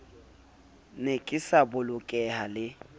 ne ke sa bolokeha le